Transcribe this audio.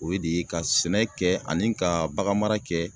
O ye de ye ka sɛnɛ kɛ ani ka bagan mara kɛ